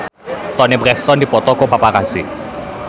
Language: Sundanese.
Toni Brexton dipoto ku paparazi